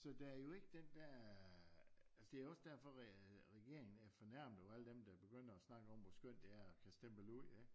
Så der er jo ikke den der øh altså det jo også derfor at øh regeringen fornærmer jo alle dem der begynder at snakke om hvor skønt det er at kunne stemple ud ikke